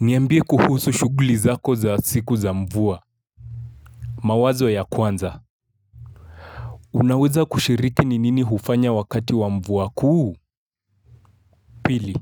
Niambie kuhusu shuguli zako za siku za mvua. Mawazo ya kwanza. Unaweza kushiriki ni nini hufanya wakati wa mvua kuu? Pili.